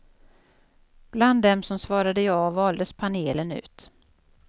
Bland dem som svarade ja valdes panelen ut.